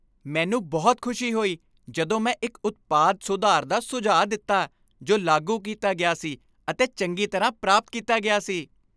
ਮੈਨੂੰ ਬਹੁਤ ਖੁਸ਼ੀ ਹੋਈ ਜਦੋਂ ਮੈਂ ਇੱਕ ਉਤਪਾਦ ਸੁਧਾਰ ਦਾ ਸੁਝਾਅ ਦਿੱਤਾ ਜੋ ਲਾਗੂ ਕੀਤਾ ਗਿਆ ਸੀ ਅਤੇ ਚੰਗੀ ਤਰ੍ਹਾਂ ਪ੍ਰਾਪਤ ਕੀਤਾ ਗਿਆ ਸੀ।